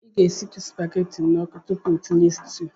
I ga-esitụ supageti n'ọkụ tupu tinye sutuu.